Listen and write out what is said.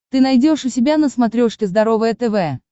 ты найдешь у себя на смотрешке здоровое тв